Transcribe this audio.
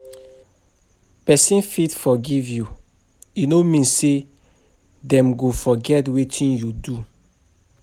Person fit forgive you, e no mean say dem go forget wetin you do.